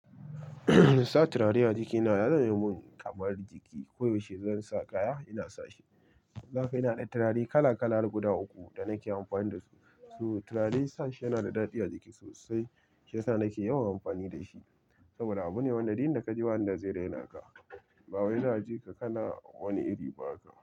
Sa turare a jikina ya zama mun kamar jiki. Ko yaushe zan sa kaya, ina sa shi. Zu haka ina da turare kala kala har guda uku da nake amfani da su. So turare sashi yana da daɗi a jiki sosai. Shiyasa nake yawan amfani da shi. Saboda abu ne wanda duk inda ka je, wanda zai raina ka. Ba wai za'a jika kana wani iri ba haka.